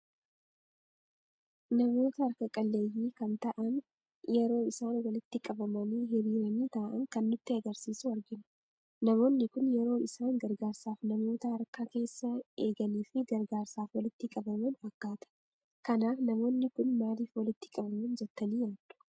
Namoota harkaa qalleeyyi kan ta'aan yeroo isaan walitti qabamaani, hiriirani taa'aan kan nutti agarsiisuu argina. Namoonni kun yeroo isaan gargaarsaaf namoota harkaa keessa eegaanii fi gargaarsaaf walitti qabaman fakkata. Kanaaf naaamoonni kun maaliiif walitti qabamani jettani yaaddu?